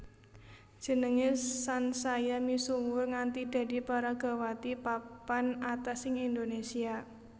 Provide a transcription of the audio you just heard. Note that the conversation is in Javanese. Jenengé sansaya misuwur nganti dadi peragawati papan atas ing Indonésia